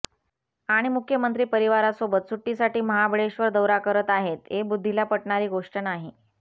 आणि मुख्यमंत्री परिवारासोबत सुट्टीसाठी महाबळेश्वर दौरा करत आहेत हे बुद्धीला पटणारी गोष्ट नाही